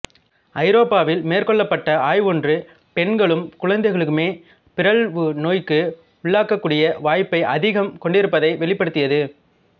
ஐரோப்பாவில் மேற்கொள்ளப்பட்ட ஆய்வொன்று பெண்களும் குழந்தைகளுமே பிறழ்வு நோய்க்கு உள்ளாகக்கூடிய வாய்ப்பை அதிகம் கொண்டிருப்பதை வெளிப்படுத்தியது